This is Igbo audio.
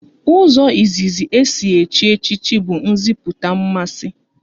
Ụzọ izizi e si echi echichi bụ nziputa mmasị